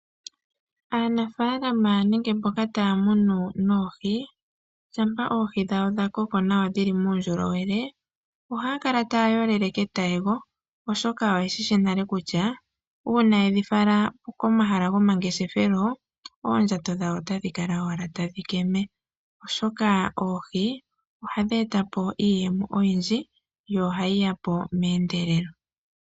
Aanafaalama nenge mboka taya munu oohi, shampa ohi dhawo dhakoko nawa dhili muundjolowele ohaya kala taya yolele ketayego, oshoka oye shishi nale kutya uuna yedhi fala komahala gomangeshefelo oondjato dhawo otadhi kala owala tadhi keme. Oshoka oohi ohadhi eta po iiyemo oyindji yo ohayi ya po meendelelo.